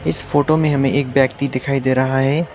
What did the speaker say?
इस फोटो में हमें एक व्यक्ति दिखाई दे रहा है।